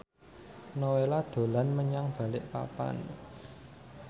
Nowela dolan menyang Balikpapan